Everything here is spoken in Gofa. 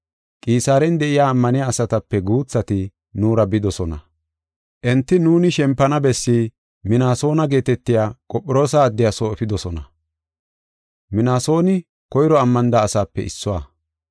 Qisaaren de7iya ammaniya asatape guuthati nuura bidosona. Enti nuuni shempana bessi Minaasona geetetiya Qophiroosa addiya soo efidosona. Minaasoni koyro ammanida asaape issuwa.